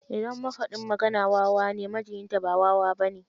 Idan mafaɗin magana wawa ne, majiyinta ba wawa ba ne.